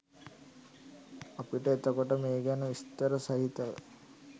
අපිට එතකොට මේ ගැන විස්තර සහිතව